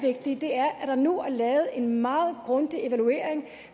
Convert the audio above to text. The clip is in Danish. vigtige er at der nu er lavet en meget grundig evaluering